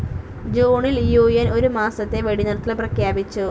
ജൂണിൽ U N ഒരു മാസത്തെ വെടിനിർത്തൽ പ്രഖ്യാപിച്ചു.